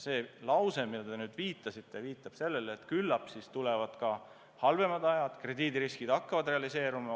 See lause, millele te nüüd viitasite, tahab öelda, et küllap tulevad ka halvemad ajad, kui krediidiriskid hakkavad realiseeruma.